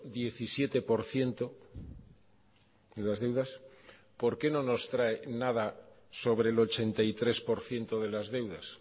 diecisiete por ciento de las deudas por qué no nos trae nada sobre el ochenta y tres por ciento de las deudas